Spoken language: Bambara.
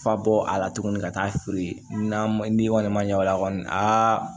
Fa bɔ a la tuguni ka taa feere n'a ma n'i kɔni ma ɲɛ o la kɔni aa